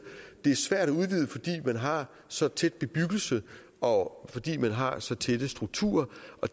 fordi man har så tæt bebyggelse og fordi man har så tætte strukturer